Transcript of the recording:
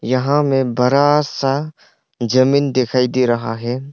यहाँ में बड़ा सा जमीन दिखाई दे रहा है।